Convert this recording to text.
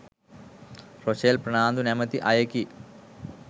Rochelle Fernando නැමති අයෙකි